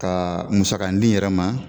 Kaa musakan di yɛrɛ ma